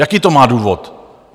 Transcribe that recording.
Jaký to má důvod?